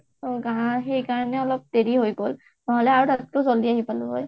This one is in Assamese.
সেইকাৰণে অলপ দেৰি হৈ গল, নহলে আৰু জাল্ডি আহি পালোঁ হয়